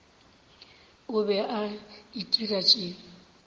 o be a itira tše